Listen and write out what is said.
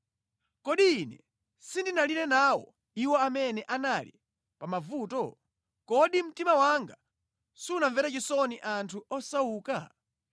Kodi ine sindinalire nawo iwo amene anali pamavuto? Kodi mtima wanga sunamvere chisoni anthu osauka?